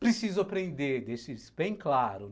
Preciso aprender, deixe isso bem claro.